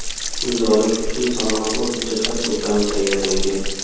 Imzolash uchun salmoqli hujjatlar to‘plami tayyorlangan.